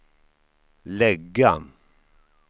lägga